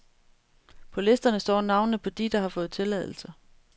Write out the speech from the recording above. På listerne står navnene på de, der har fået tilladelse.